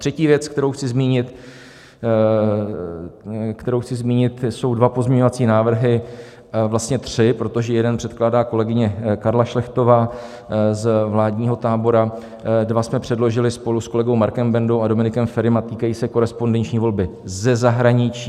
Třetí věc, kterou chci zmínit, jsou dva pozměňovací návrhy, vlastně tři, protože jeden předkládá kolegyně Karla Šlechtová z vládního tábora, dva jsme předložili spolu s kolegou Markem Bendou a Dominikem Ferim, a týkají se korespondenční volby ze zahraničí.